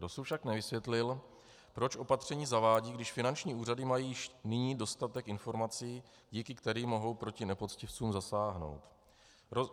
Dosud však nevysvětlil, proč opatření zavádí, když finanční úřady mají již nyní dostatek informací, díky kterým mohou proti nepoctivcům zasáhnout.